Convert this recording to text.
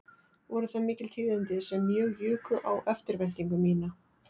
Voru það mikil tíðindi sem mjög juku á eftirvæntingu mína